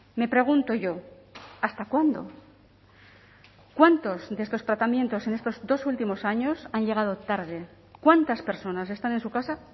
me pregunto yo hasta cuándo cuántos de estos tratamientos en estos dos últimos años han llegado tarde cuántas personas están en su casa